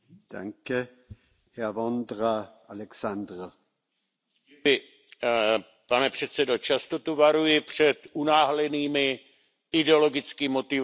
Pane předsedající, často tu varuji před unáhlenými, ideologicky motivovanými kroky a upozorňuji, že tyto kroky budou mít své důsledky.